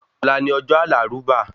Ọ̀la ni ọjọ́ àlàrúbà